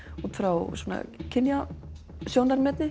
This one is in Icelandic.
útfrá svona